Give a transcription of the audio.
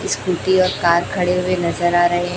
scooty और car खड़े हुए नजर आ रहे--